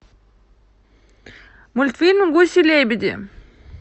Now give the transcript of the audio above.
мультфильм гуси лебеди